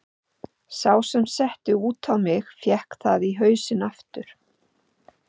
Sá sem setti út á mig fékk það í hausinn aftur.